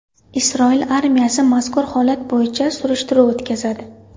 Isroil armiyasi mazkur holat bo‘yicha surishtiruv o‘tkazadi.